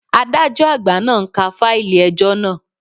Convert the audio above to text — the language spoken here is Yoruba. Adájọ́ àgbà náà ń ka fáìlì ẹjọ́ naa